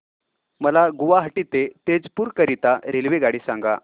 मला गुवाहाटी ते तेजपुर करीता रेल्वेगाडी सांगा